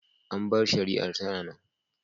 An bar shari’ar tana nan.